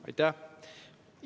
Aitäh!